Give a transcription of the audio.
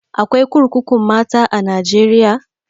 Akwai kurkukun mata a najeriya?